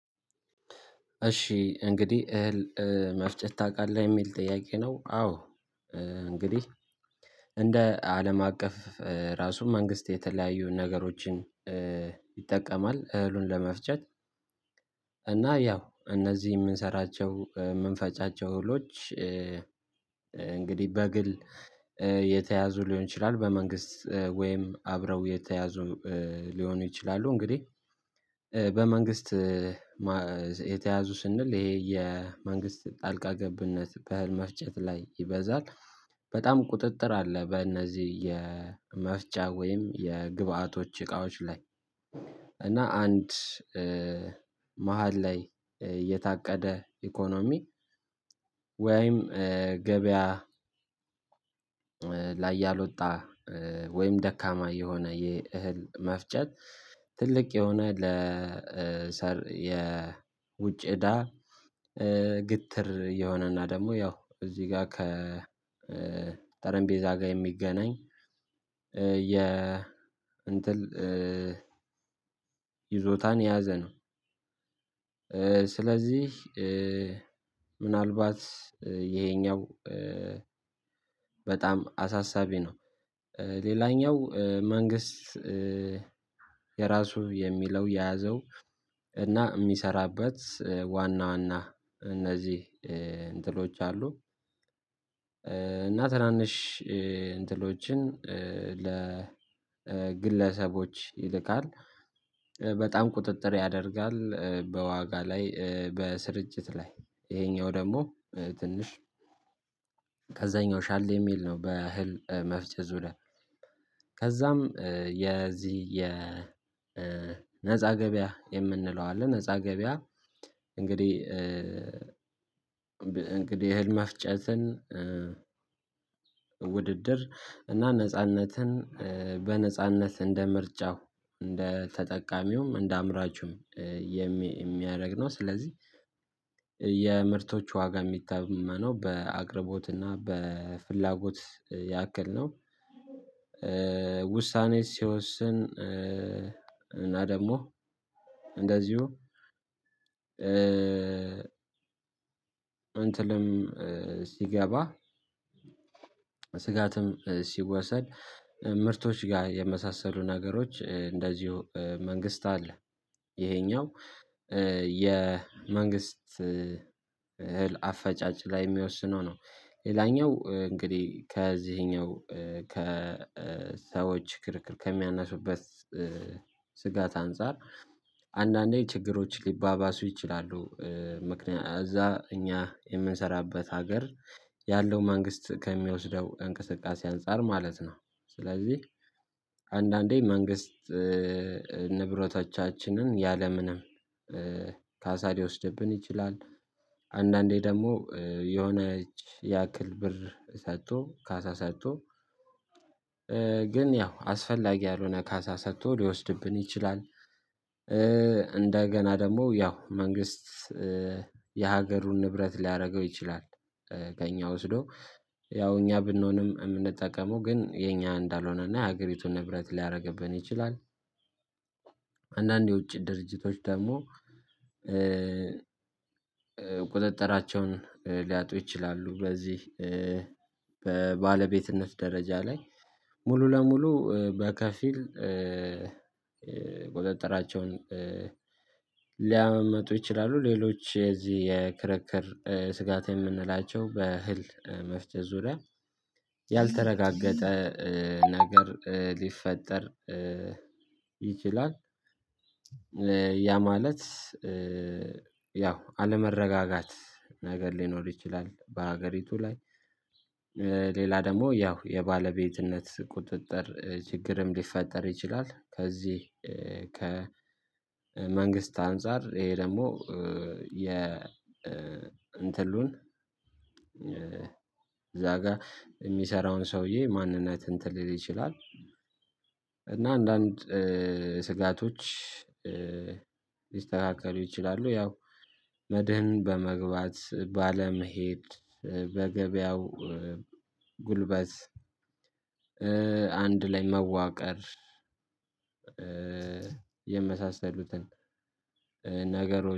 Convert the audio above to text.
እሺ እንግዲህ እህል መፍጨት ታውቃለህ የሚል ጥያቄ ነው? አዎ እንግዲህ እንደ አለም አቀፍ ራሱ መንግስት የተለያዩ ነገሮችን ይጠቀማል እህሉን ለመፍጨት። እና ያው እነዚህ የምንሰራቸው የምንፈጫቸው እህሎች። እንግዲህ በግል የተያዙ ሊሆን ይችላል በመንግስት ወይም አብረው የተያዙ ሊሆኑ ይችላሉ። እንግዲህ በመንግስት የተያዙ ስንል ይሄ የመንግስት ጣልቃ ገብነት በእህል መፍጨት ላይ ይበዛል። በጣም ቁጥጥር አለ በእነዚህ የመፍጫ ወይም የግብአቶች እቃዎች ላይ። እና አንድ መሃል ላይ የታቀደ ኢኮኖሚ ወይም ገበያ። ላይ ያልወጣ ወይም ደካማ የሆነ የእህል መፍጨት ትልቅ የሆነ ለሰር የውጭ እዳ ግትር የሆነና ደግሞ ያው እዚህ ጋር ከ ጠረጴቤዛ ጋር የሚገናኝ የ እንትን ይዞታን የያዘ ነው። ስለዚህ ምናልባት ይሄኛው በጣም አሳሳቢ ነው። ሌላኛው መንግስት የራሱ የሚለው የያዘው እና የሚሰራበት ዋና ዋና እነዚህ እንትኖች አሉ። እና ትናንሽ እንትኖችን ለግለሰቦች ይልካል። በጣም ቁጥጥር ያደርጋል በዋጋ ላይ በስርጭት ላይ ይሄኛው ደግሞ ትንሽ ከዛኛው ሻል የሚል ነው። በእህል መፍጨት ዙሪያ ከዛም የዚህ የነፃ ገበያ የምንለው አለ ነፃ ገበያ። እንግዲህ እንግዲህ እህል መፍጨትን ውድድር እና ነጻነትን በነጻነት እንደ ምርጫው እንደ ተጠቃሚውም እንደ አምራቹም የሚያደርግ ነው። ስለዚህ የምርቶቹ ዋጋ የሚታመነው በአቅርቦትና በፍላጎት ያክል ነው። ውሳኔ ሲወስን እና ደግሞ እንደዚሁ እንትንም ሲገባ ስጋትም ሲወሰድ ምርቶች ጋር የመሳሰሉ ነገሮች እንደዚሁ መንግስት አለ። ይሄኛው የመንግስት እህል አፈጫጭ ላይ የሚወስነው ነው። ሌላኛው እንግዲህ ከዚህኛው ከሰዎች ክርክር ከሚያነሱበት ስጋት አንፃር አንዳንዴ ችግሮች ሊባባሱ ይችላሉ። ምክንያቱም እዛ እኛ የምንሰራበት ሀገር ያለው መንግስት ከሚወስደው እንቅስቃሴ አንፃር ማለት ነው። ስለዚህ አንዳንዴ መንግስት ንብረቶቻችንን ያለምንም ካሳ ሊወስድብን ይችላል። አንዳንዴ ደግሞ የሆነች ያክል ብር ሰጥቶ ካሳ ሰጥቶ ግን ያው አስፈላጊ ያልሆነ ካሳ ሰጥቶ ሊወስድብን ይችላል። እንደገና ደግሞ ያው መንግስት የሀገሩን ንብረት ሊያደርገው ይችላል። ከእኛ ወስዶ ያው እኛ ብንሆንም የምንጠቀመው ግን የኛ እንዳልሆነና የሀገሪቱ ንብረት ሊያደርግብን ይችላል። አንዳንዴ የውጪ ድርጅቶች ደግሞ ቁጥጥራቸውን ሊያጡ ይችላሉ። በዚህ በባለቤትነት ደረጃ ላይ ሙሉ ለሙሉ በከፊል ቁጠጠራቸውን ሊያመምጡ ይችላሉ። ሌሎች የእዚህ የክርክር ስጋት የምንላቸው በእህል መፍጨት ዙሪያ ያልተረጋገጠ ነገር ሊፈጠር ይችላል። ያ ማለት ያው አለመረጋጋት ነገር ሊኖር ይችላል በሀገሪቱ ላይ። ሌላ ደግሞ ያው የባለቤትነት ቁጥጥር ችግርም ሊፈጠር ይችላል። ከዚህ ከ መንግስት አንፃር ይሄ ደግሞ የ እንትኑን እዛ ጋር የሚሰራውን ሰውዬ ማንነት እንትን ሊል ይችላል። እና አንዳንድ ስጋቶች ሊስተካከሉ ይችላሉ። ያው መድህን በመግባት ባለመሄድ በገበያው ጉልበት አንድ ላይ መዋቀር የመሳሰሉትን ነገሮች